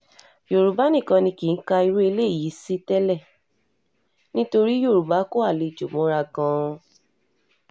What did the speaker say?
yorùbá nìkan ni kì í ka irú eléyìí sí tẹ́lẹ̀ nítorí yorùbá kó àlejò mọ́ra gan-an